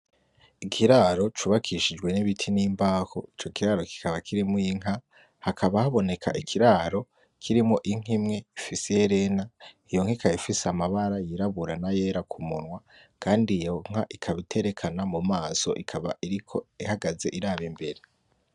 Ikiraro cubakishijwe n’ibiti n’imbaho ico kiraro kikaba kirimwo inka hakaba haboneka ikiraro kirimwo inka imwe ifise iherena iyo inka ifise amabara yirabura na yera ku munwa kandi iyo nka ikaba iterekana mumaso ikaba ihagaze iraba imbere.